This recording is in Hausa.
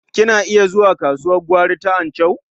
Kina iya zuwa kasuwar gwari ta Anchau?